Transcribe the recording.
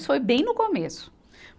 Isso foi bem no começo.